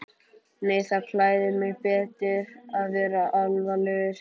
Nei það klæðir mig betur að vera alvarlegur.